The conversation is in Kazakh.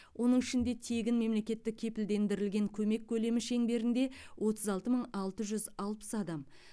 оның ішінде тегін мемлекеттік кепілдендірілген көмек көлемі шеңберінде отыз алты мың алты жүз алпыс адам